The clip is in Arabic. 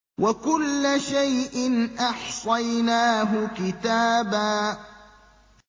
وَكُلَّ شَيْءٍ أَحْصَيْنَاهُ كِتَابًا